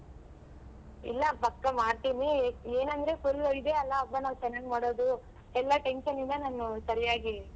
ಇಲ್ಲ ಪಕ್ಕ ಮಾಡ್ತೀವಿ ಏನಂದ್ರೆ full ಇದೆ ಅಲ್ಲ ಹಬ್ಬ ನಾವ್ ಚೆನ್ನಾಗ್ ಮಾಡೋದು ಎಲ್ಲಾ tension ಇಂದ ನಾನು ಸರ್ಯಾಗಿ.